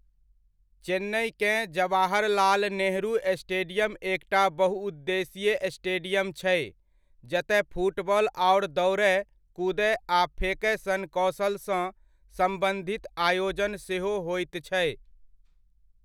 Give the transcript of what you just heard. चेन्नइकेँ Jawaharlal Nehru stadium एकटा बहुउद्देशीय stadium छै जतय फुटबॉल आओर दौड़य, कूदय आ फेकय सन कौशलसँ सम्बन्धित आयोजन सेहो होइत छै।